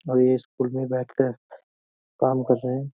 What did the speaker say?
और ये स्कूल में बैठ कर काम कर रहे हैं।